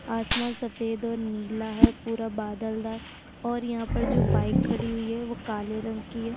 आसमान सफेद और नीला है और पुरा बादल हैं और यहाँ पर जो बाइक खड़ी हुई है वो काले रंग की है।